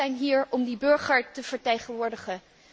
Wij zijn hier om die burgers te vertegenwoordigen.